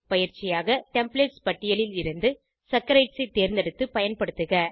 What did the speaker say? பயிற்சியாக டெம்ப்ளேட்ஸ் பட்டியலில் இருந்து சாக்கரைட்ஸ் ஐ தேர்ந்தெடுத்து பயன்படுத்துக